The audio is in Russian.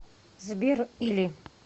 сбер или